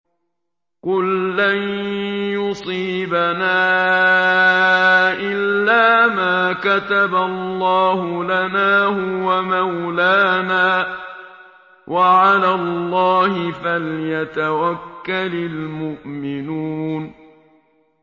قُل لَّن يُصِيبَنَا إِلَّا مَا كَتَبَ اللَّهُ لَنَا هُوَ مَوْلَانَا ۚ وَعَلَى اللَّهِ فَلْيَتَوَكَّلِ الْمُؤْمِنُونَ